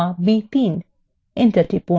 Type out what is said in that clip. enter টিপুন